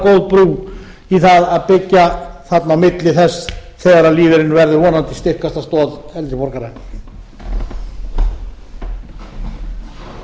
brú í það að byggja þarna á milli þess þegar lífeyririnn verður vonandi styrkasta stoð eldri borgara